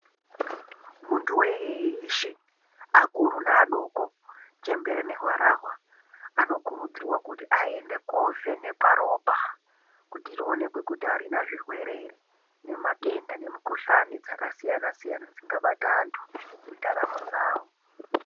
Muntu weshe akuru ne adoko chembere ne harahwa ano kurudzirwa kuti aende ko vhenekwa ropa kuti rionekwe kuti arina zvirwere ere nema tenda ne mikuhlani dzaka siyana siyana dzaka bata anti mu ndaramo dzavo.